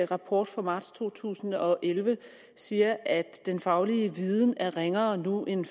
rapport fra marts to tusind og elleve siger at den faglige viden er ringere nu end